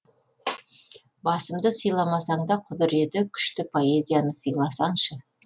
басымды сыйламасаң да құдіреті күшті поэзияны сыйласаңшы